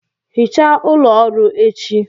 Hichaa ụlọ ọrụ echi